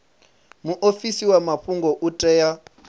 muofisi wa mafhungo u tea